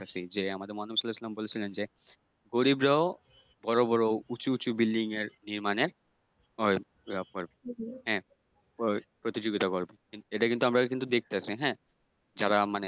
যে আমাদের মহানবী সাল্লাল্লাহু সাল্লাম বলেছিলেন যে গরিবরাও বড় বড় উঁচু উঁচু বিল্ডিংয়ের নির্মানের ইয়ে মানে ওই হ্যাঁ প্রতিযোগিতা করবে এটা কিন্তু আমরা কিন্তু দেখতাছি হ্যাঁ? যারা মানে